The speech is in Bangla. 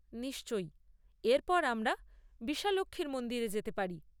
নিশ্চয়, এর পর আমরা বিশালাক্ষীর মন্দিরে যেতে পারি।